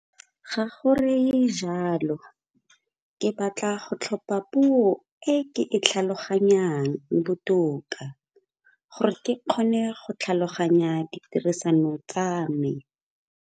Ga go reye jalo, ke batla go tlhopha puo e ke e tlhaloganyang botoka gore ke kgone go tlhaloganya ditirisano tsa me.